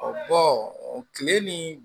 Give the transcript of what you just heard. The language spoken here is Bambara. kile ni